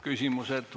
Küsimused.